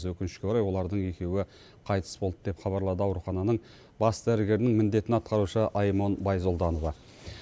өкінішке орай олардың екеуі қайтыс болды деп хабарлады аурухананың бас дәрігерінің міндетін атқарушы аймон байзолданова